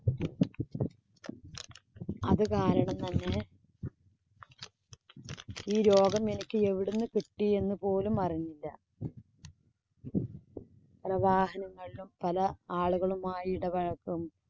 അത് കാരണം തന്നെ ഈ രോഗം എനിക്ക് എവിടെ നിന്ന് കിട്ടീ എന്ന് പോലും അറിഞ്ഞില്ല. പല വാഹങ്ങളിലും, പല ആളുകളുമായി ഇടപഴക്കം